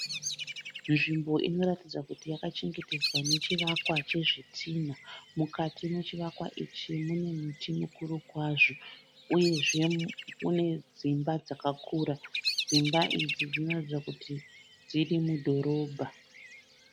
Nzvimbo inoratidza kuti yakachengetedzwa nechivakwa chezvitinha. Mukati mechivakwa ichi munemti mukuru kwazvo uyezve unedzimba dzakakura. Dzimba idzi dzinoratidza kuti dziri mudhorobha.